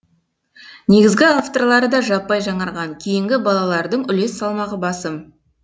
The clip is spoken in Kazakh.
негізгі авторлары да жаппай жаңарған кейінгі балалардың үлес салмағы басым